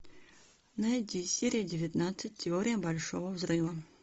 найди серия девятнадцать теория большого взрыва